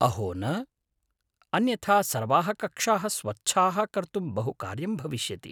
अहो न; अन्यथा सर्वाः कक्षाः स्वच्छाः कर्तुं बहु कार्यं भविष्यति!